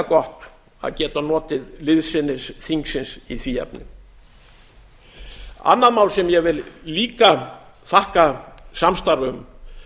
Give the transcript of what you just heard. gott að geta notið liðsinnis þingsins í því efni annað mál sem ég vil líka þakka samstarf um